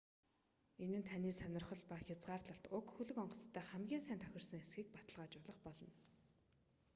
энэ нь таны сонирхол ба хязгаарлалт уг хөлөг онгоцтой хамгийн сайн тохирсон эсэхийг баталгаажуулах болно